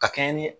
Ka kɛɲɛ ni